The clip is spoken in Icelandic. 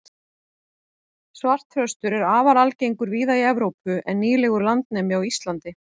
svartþröstur er afar algengur víða í evrópu en nýlegur landnemi á íslandi